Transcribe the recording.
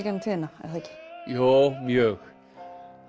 gegnum tíðina er það ekki jú mjög